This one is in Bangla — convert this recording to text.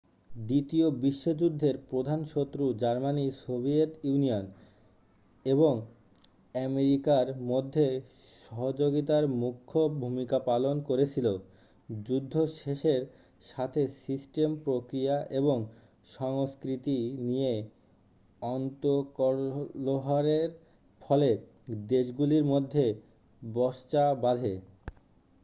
দ্বিতীয় বিশ্বযুদ্ধের প্রধান শত্রু জার্মানি সোভিয়েত ইউনিয়ন এবং আমেরিকার মধ্যে সহযোগিতার মুখ্য ভূমিকা পালন করছিল যুদ্ধ শেষের সাথে সিস্টেম প্রক্রিয়া এবং সংস্কৃতি নিয়ে অন্তর্কলহের ফলে দেশগুলির মধ্যে বচসা বাধে